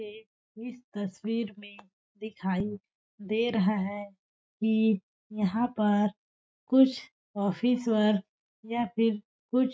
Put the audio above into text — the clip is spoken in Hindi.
तस्वीर में दिखाई दे रहा है कि यहां पर कुछ ऑफिसर या फिर --